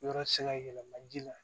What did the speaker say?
Yɔrɔ ti se ka yɛlɛma ji la